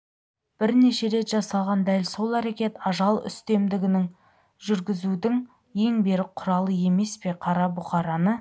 бірнеше рет жасалған дәл сол әрекет ажал үстемдігіңді жүргізудің ең берік құралы емес пе қара бұқараны